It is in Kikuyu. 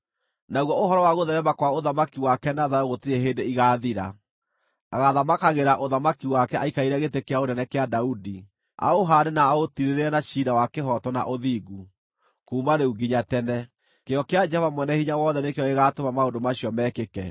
Naguo ũhoro wa gũtheerema kwa ũthamaki wake na thayũ gũtirĩ hĩndĩ igaathira. Agaathamakagĩra ũthamaki wake aikarĩire gĩtĩ kĩa ũnene kĩa Daudi, aũhaande na aũtiirĩrĩre na ciira wa kĩhooto na ũthingu, kuuma rĩu nginya tene. Kĩyo kĩa Jehova Mwene-Hinya-Wothe nĩkĩo gĩgaatũma maũndũ macio mekĩke.